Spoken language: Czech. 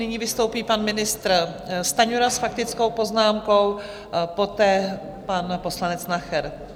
Nyní vystoupí pan ministr Stanjura s faktickou poznámkou, poté pan poslanec Nacher.